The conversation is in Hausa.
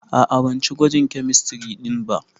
A'a, ban ci gwajin kemistiri ɗin ba.